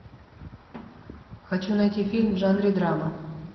хочу найти фильм в жанре драма